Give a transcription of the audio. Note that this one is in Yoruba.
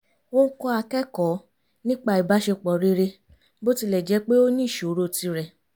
ó ń kọ́ akẹ́kọ̀ọ́ nípa ìbáṣepọ̀ rere bó tilẹ̀ jẹ́ pé ó ní ìṣòro tirẹ̀